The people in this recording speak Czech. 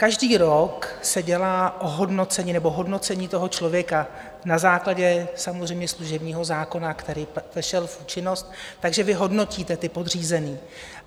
Každý rok se dělá hodnocení toho člověka na základě samozřejmě služebního zákona, který vešel v účinnost, takže vy hodnotíte ty podřízené.